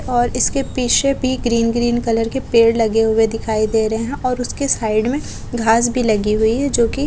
और इसके पीछे भी ग्रीन ग्रीन कलर के पेड़ लगे हुए दिखाई दे रहे है और उसके साइड में घास भी लगी हुई है जो कि--